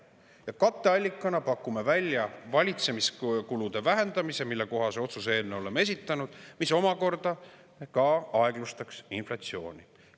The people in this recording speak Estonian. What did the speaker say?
Ja katteallikana pakume välja valitsemiskulude vähendamise, mille kohta oleme otsuse eelnõu esitanud – see omakorda aeglustaks inflatsiooni.